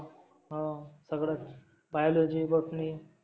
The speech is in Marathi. हो सगळच biology, botony